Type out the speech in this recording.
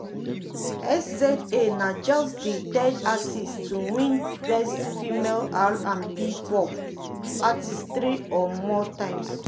um sza na just di third artist to win best female r&b/pop um artist three or more times.